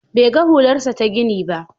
Bai ga hularsa ta gini ba.